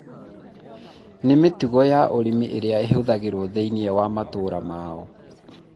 na mĩtugo ya ũrĩmi ĩrĩa ĩhũthagĩrwo thĩiniĩ wa matũũra mao.